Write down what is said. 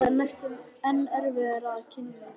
Það er næstum enn erfiðara að kyngja því.